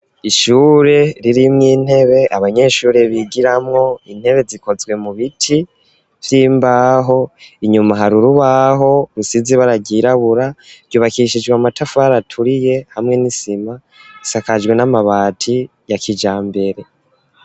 Ishure, ririmwo intebe, abanyeshure bigiramwo; intebe, zikozwe mu biti, vy'imbaho; inyuma, hari urubaho, rusize ibara ryirabura; ryubakishijwe amatafari, aturiye, hamwe n'isima; isakajwe n'amabati, ya kijambere.